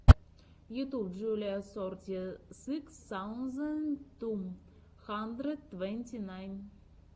ютуб джулиа сорти сыкс саузенд ту хандрэд твэнти найн